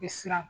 Bɛ siran